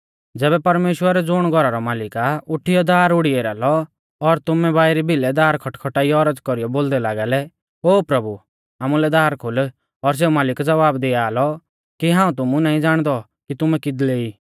ज़ैबै परमेश्‍वर ज़ुण घौरा रौ मालिक आ उठीयौ दार उढ़ी एरा लौ और तुमै बाइरी बिलै दार खटखटाइयौ औरज़ कौरीयौ बोलदै लागा लै ओ प्रभु आमुलै दार खोल और सेऊ मालिक ज़वाब दिआ लौ कि हाऊं तुमु नाईं ज़ाणदौ कि तुमै किदले ई